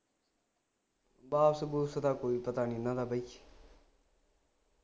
ਬਸ bus ਦਾ ਕੋਈ ਪਤਾ ਨਹੀਂ ਨਾ ਉਹਨਾ ਦਾ ਬਈ